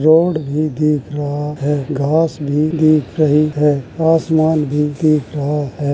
Road भी दिख रहा है घांस भी दिख रही है आसमान भी दिख रहा है।